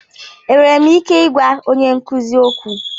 Enwere m ike ịgwa onye nkuzi okwu?